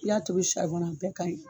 I y'a tobi a bɛɛ ka ɲi.